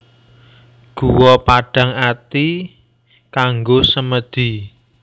Guwa Padang Ati kanggo semèdi